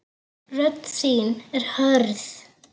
Rödd þín er hörð.